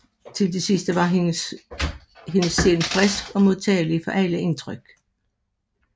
Til det sidste var hendes sind frisk og modtageligt for alle indtryk